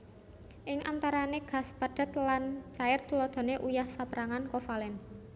Ing antarane gas padhet lan cair Tuladhane uyah saperangan kovalen